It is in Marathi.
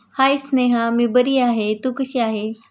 हाय स्नेहा मी बरी आहे तू कशी आहे?